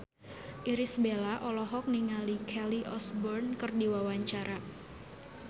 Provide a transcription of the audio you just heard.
Irish Bella olohok ningali Kelly Osbourne keur diwawancara